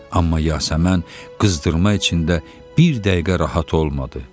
Amma Yasəmən qızdırma içində bir dəqiqə rahat olmadı.